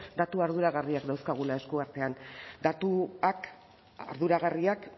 datu arduragarriak dauzkagula eskuartean datuak arduragarriak